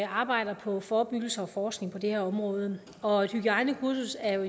arbejder på forebyggelse og forskning på det her område og et hygiejnekursus er